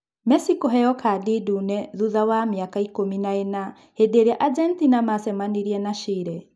Mesi kũheyo kandi ndune thutha wa mĩaka ikũmi na ĩna hĩndĩĩria Agetina wacemanirie na Chire.